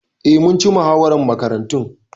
Eh, mun ci muhawarar Makarantun.